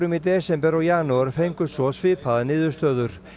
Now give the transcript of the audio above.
í desember og janúar fengust svo svipaðar niðurstöður